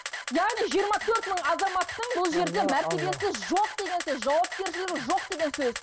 яғни жиырма төрт мың азаматтың бұл жерде мәртебесі жоқ деген сөз жауапкершілігі жоқ деген сөз